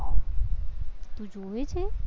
તું જોવે છે?